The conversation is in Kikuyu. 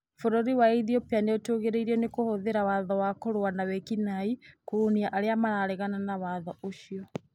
Bũrũri wa Ethiopia nĩ ũtuĩrĩirio nĩ kũhũthĩra watho wa kũrũa nawĩki-naĩ kũhũnia arĩa mareganaga na watho ũcio.